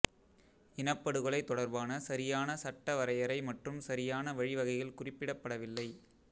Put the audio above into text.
இனப்படுகொலை தொடர்பான சரியான சட்ட வரையறை மற்றும் சரியான வழி வகைகள் குறிப்பிடப்படவில்லை